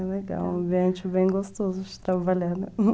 É um ambiente bem gostoso de trabalhar, né?